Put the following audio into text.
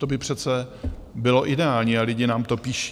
To by přece bylo ideální a lidi nám to píší.